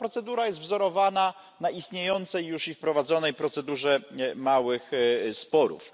Ta procedura jest wzorowana na istniejącej już i wprowadzonej procedurze małych sporów.